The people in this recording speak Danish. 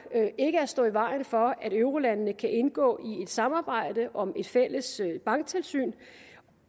ikke at stå i vejen for at eurolandene kan indgå i et samarbejde om et fælles banktilsyn